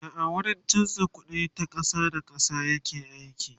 da a wurin chanza ƙuɗi ta ƙasa da ƙasa yake aiki